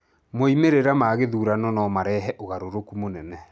Moimĩrĩra ma gĩthurano no marehe ũgarũrũku mũnene.